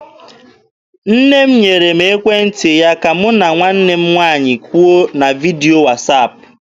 Nne m nyere m ekwentị ya ka mụ na nwanne m nwaanyị kwuo na vidio wasaapụ.